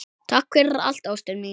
Takk fyrir allt, ástin mín.